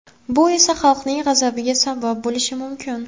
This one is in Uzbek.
Bu esa – xalqning g‘azabiga sabab bo‘lishi mumkin.